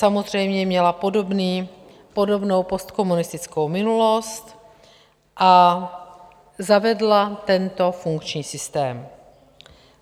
Samozřejmě měla podobnou postkomunistickou minulost a zavedla tento funkční systém.